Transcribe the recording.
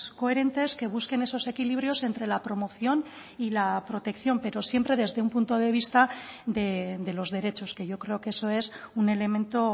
coherentes que busquen esos equilibrios entre la promoción y la protección pero siempre desde un punto de vista de los derechos que yo creo que eso es un elemento